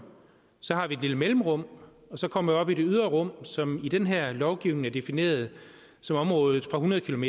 så har vi et lille mellemrum og så kommer vi op i det ydre rum som i den her lovgivning er defineret som området fra hundrede km